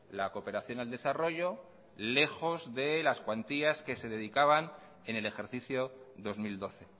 la cooperación al desarrollo lejos de las cuantías que se dedicaban en el ejercicio dos mil doce